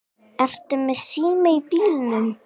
Ertu með síma í bílnum?